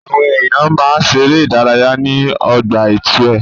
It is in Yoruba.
Àwọn èèyàn máa ń ṣeré ìdárayá ní ọgbà itue.